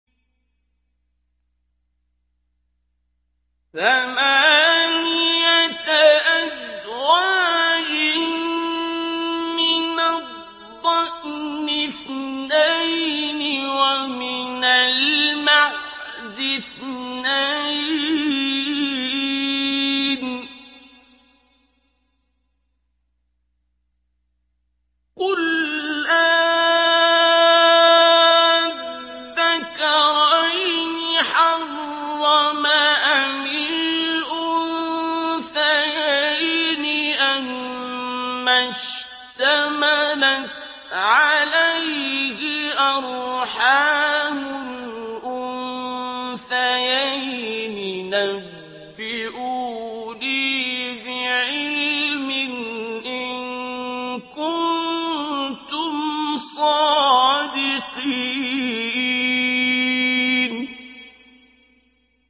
ثَمَانِيَةَ أَزْوَاجٍ ۖ مِّنَ الضَّأْنِ اثْنَيْنِ وَمِنَ الْمَعْزِ اثْنَيْنِ ۗ قُلْ آلذَّكَرَيْنِ حَرَّمَ أَمِ الْأُنثَيَيْنِ أَمَّا اشْتَمَلَتْ عَلَيْهِ أَرْحَامُ الْأُنثَيَيْنِ ۖ نَبِّئُونِي بِعِلْمٍ إِن كُنتُمْ صَادِقِينَ